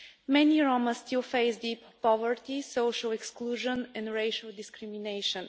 Many Roma still face deep poverty, social exclusion and racial discrimination.